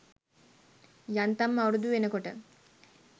යන්තම් අවුරුදු වෙනකොට